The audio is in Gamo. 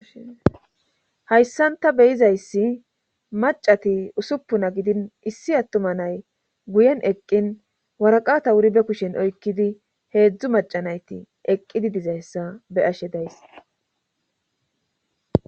Hayssan ta beyizayssi macati usuppuna gidin issi attuma nay guyen eqqin waraqata wuri be kushen oykkidi heedzdzu macanayti eqqidi dizayssa be ashe days.